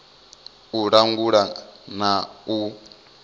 a u langula na u